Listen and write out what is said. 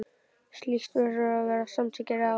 Slíkt verður að vera samantekin ráð.